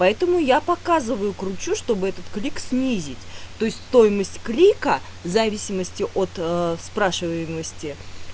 поэтому я показываю кручу чтобы этот клик снизить то есть стоимость клика в зависимости от спрашиваемости